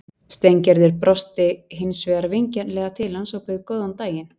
Steingerður brosti hins vegar vingjarnlega til hans og bauð góðan daginn.